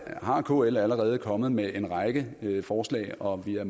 kl allerede kommet med en række forslag og vi er